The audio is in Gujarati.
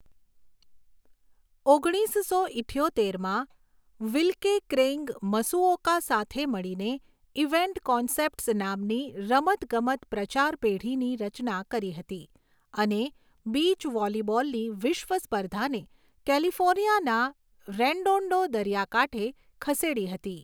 ઓગણીસસો ઇઠ્યોતેરમાં, વિલ્કે ક્રેઇગ મસુઓકા સાથે મળીને ઇવેન્ટ કોન્સેપ્ટ્સ નામની રમતગમત પ્રચાર પેઢીની રચના કરી હતી અને બીચ વૉલિબૉલની વિશ્વ સ્પર્ધાને કેલિફોર્નિયાના રેડોન્ડો દરિયાકાંઠે ખસેડી હતી.